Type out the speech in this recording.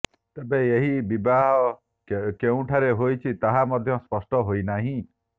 ତେବେ ଏହି ବିବାହ କେଉଁଠାରେ ହୋଇଛି ତାହା ମଧ୍ୟ ସ୍ପଷ୍ଟ ହୋଇନାହିଁ